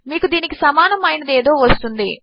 మీకు దీనికి సమానము అయినది ఏదో వస్తుంది